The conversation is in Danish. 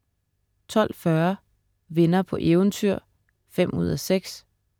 12.40 Venner på eventyr 5:6*